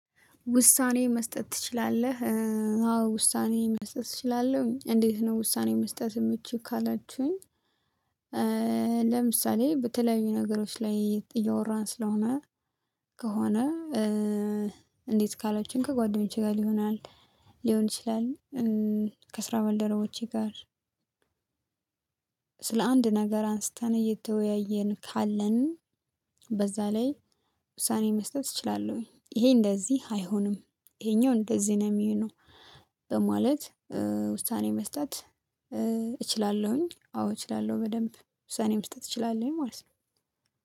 ውሳኔ መስጠት ትችላለህ? አዎ ውሳኔ መስጠት እችላለሁ እንዴት ነው ውሳኔ መስጠት የምችይው ካላችሁኝ። ለምሳሌ በተለይዩ ነገሮች ላይ እያወራን ስለሆነ ከሆነ እንዴት ካላችሁኝ ከጓደኞቼ ጋር ሊሆን ይችላል ሊሆን ይችላል። ከስራ ባልደረቦቼ ጋር። ስለ አንድ ነገር አንስተን እየተወያየን ካለን በዛ ላይ ውሳኔ መስጠት እችላለሁኝ። ይሄ እንደዚህ አይሆንም ይሄኛው እንደዚህ ነው የሚሆነው። በማለት ውሳኔ መስጠት እችላለሁኝ። አዎ እችላለሁ በደንብ ውሳኔ መስጠት እችላለሁኝ ማለት ነው